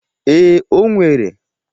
Ee, o nwere.